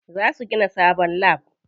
Za su gina sabon lab.